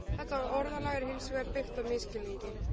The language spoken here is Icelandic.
Þetta orðalag er hins vegar byggt á misskilningi.